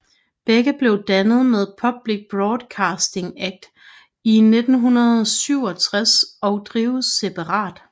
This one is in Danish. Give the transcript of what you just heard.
Begge blev dannet med Public Broadcasting Act i 1967 og drives separat